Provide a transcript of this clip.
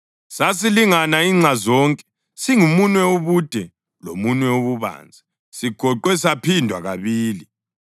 Sasilingana inxa zonke, singumunwe ubude lomunwe ububanzi, sigoqwe saphindwa kabili.